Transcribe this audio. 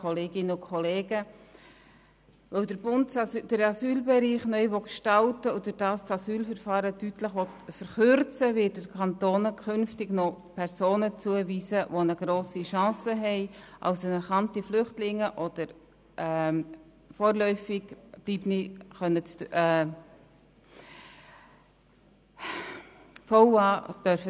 Weil der Bund den Asylbereich neu gestalten und dadurch das Asylverfahren deutlich verkürzen will, wird er den Kantonen künftig Personen zuweisen, die eine grosse Chance haben, als anerkannte Flüchtlinge oder vorläufig Aufgenommene bleiben zu dürfen.